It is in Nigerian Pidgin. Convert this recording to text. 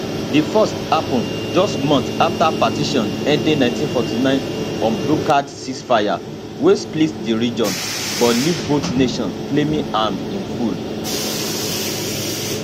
di first happun just months afta partition ending 1949 unbrokered ceasefire wey split di region but leave both nations claiming am in full